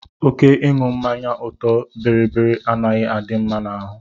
Oké ịṅụ mmanya ọtọ biribiri anaghị adị mma n'ahụ.